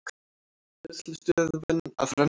Greiðslustöðvun að renna út